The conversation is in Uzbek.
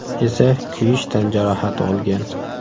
esa kuyish tan jarohati olgan.